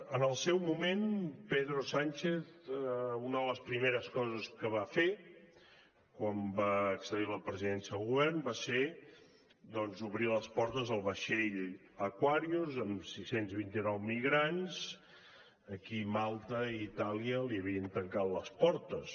en el seu moment pedro sánchez una de les primeres coses que va fer quan va accedir a la presidència del govern va ser doncs obrir les portes al vaixell aquarius amb sis cents i vint nou migrants a qui malta i itàlia li havien tancat les portes